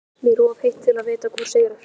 Mér er of heitt til að vita hvor sigrar.